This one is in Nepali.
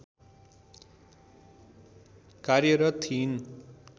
कार्यरत थिइन्